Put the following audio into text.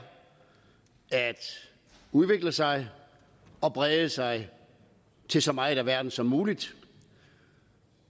at udvikle sig og brede sig til så meget af verden som muligt